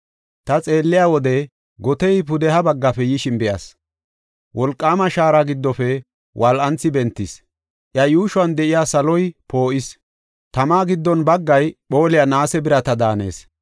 Ta xeelliya wode gotey pudeha baggafe yishin be7as; wolqaama shaara giddofe wol7anthi bentees; iya yuushuwan de7iya saloy poo7is. Tama giddo baggay phooliya naase birata daanees.